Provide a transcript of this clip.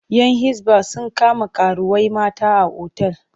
‘Yan Hisba sun kama karuwai mata a otal.